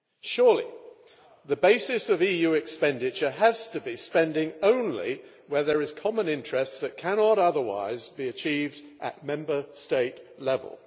Surely, the basis of EU expenditure has to be spending only where there is a common interest that cannot otherwise be achieved at Member State level.